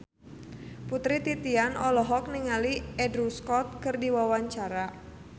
Putri Titian olohok ningali Andrew Scott keur diwawancara